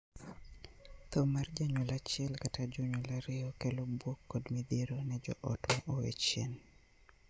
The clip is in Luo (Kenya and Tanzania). Thoo mar janyuol achiel kata jonyuol ariyo kelo buok kod midhiero ne joot ma owee chien.